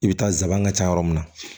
I bɛ taa zaban ka ca yɔrɔ min na